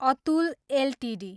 Atul Ltd